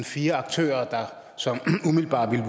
fire aktører som umiddelbart ville